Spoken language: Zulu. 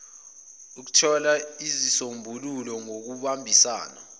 ukuthola izisombululo ngokubambisana